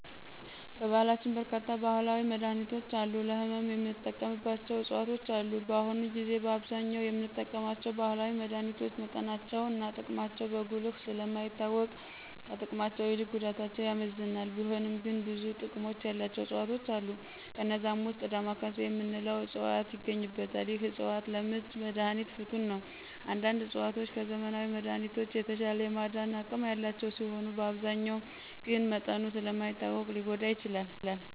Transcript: በባህላችን በርካታ ባህላዊ መድሀኒቶች እና ለህመም የምንጠቀምባቸው ዕፅዋቶች አሉ። በአሁኑ ጊዜ በአብዛኛው የምንጠቀማቸው ባህላዊ መድሀኒቶች መጠናቸው እና ጥቅማቸው በጉልህ ስለ ማይታወቅ ከጥቅማቸው ይልቅ ጉዳታቸው ያመዝናል፤ ቢሆንም ግን ብዙ ጥቅም ያላቸው ዕፅዋቶች አሉ። ከነዛም ዉስጥ "ዳማካሴ " የምንለው ዕፅዋት ይገኝበታል። ይህ ዕፅዋት ለምች መድሀኒት ፍቱን ነው። አንዳንድ ዕፅዋቶች ከዘመናዊ መድሀኒቶች የተሻለ የማዳን አቅም ያላቸው ሲሆኑ አብዛኛው ግን መጠኑ ስለ ማይታወቅ ሊጐዳ ይችላል።